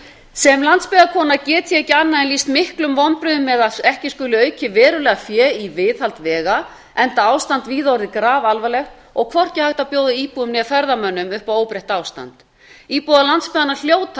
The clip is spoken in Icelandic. sem landsbyggðarkona get ég ekki annað en lýst miklum vonbrigðum með að ekki skuli aukið verulega fé í viðhald vega enda ástand víða orðið grafalvarlegt og hvorki hægt að bjóða íbúum né ferðafólki upp óbreytt ástand íbúar landsbyggðanna hljóta að